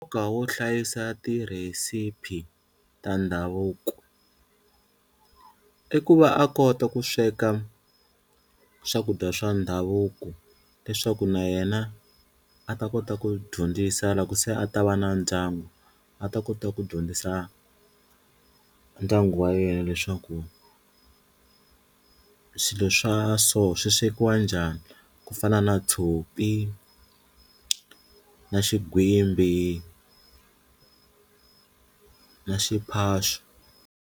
Ka wo hlayisa tirhesiphi ta ndhavuko i ku va a kota ku sweka swakudya swa ndhavuko leswaku na yena a ta kota ku dyondzisa loko se a ta va na ndyangu, a ta kota ku dyondzisa ndyangu wa yena leswaku swilo swa so swi swekiwa njhani ku fana na tshopi na xigwimbi na xiphaxo.